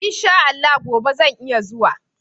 In sha Allah gobe zan iya zuwa.